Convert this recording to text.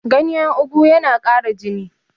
ganyen ogu yana Kara jini